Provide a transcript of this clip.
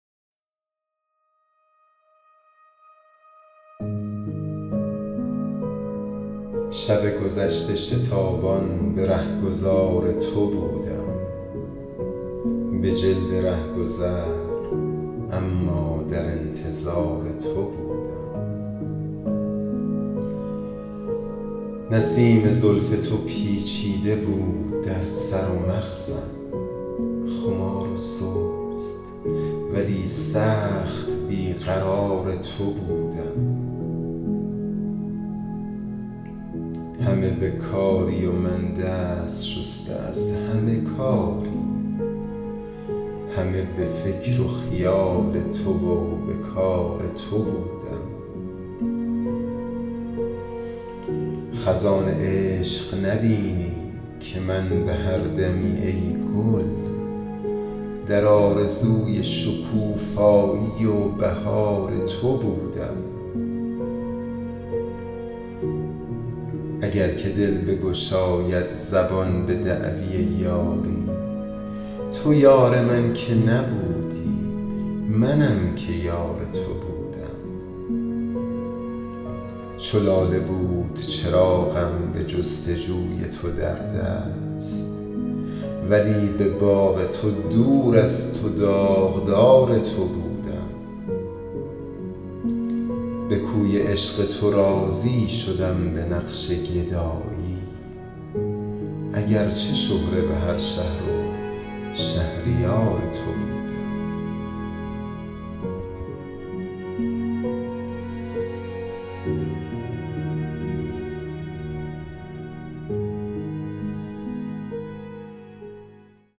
شب گذشته شتابان به رهگذار تو بودم به جلد رهگذر اما در انتظار تو بودم به سایه های گریزان شبیه بودم و چون باد به خوی وحشی و با وحشت و فرار تو بودم نیامدی که دل من در اختیار من آری وگرنه تا به سحر من در اختیار تو بودم تو نشیه تخت و خماری ندیده ای که بگویم چگونه خرد و خراب تو و خمار تو بودم نسیم زلف تو پیچیده بود در سر و مغزم خمار و سست ولی سخت بی قرار تو بودم همه به کاری و من دست شسته از همه کاری همه به فکر و خیال تو و به کار تو بودم خزان عشق نبینی که من به هر دمی ای گل در آرزوی شکوفایی و بهار تو بودم اگر که دل بگشاید زبان به دعوی یاری تو یار من که نبودی منم که یار تو بودم چو لاله بود چراغم به جستجوی تو در دست ولی به باغ تو دور از تو داغدار تو بودم به کوی عشق تو راضی شدم به نقش گدایی اگرچه شهره به هر شهر و شهریار تو بودم